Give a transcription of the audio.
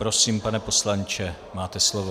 Prosím, pane poslanče, máte slovo.